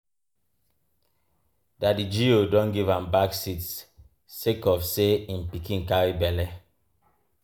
Daddy G.O don give am back seat sake of sey im pikin carry belle.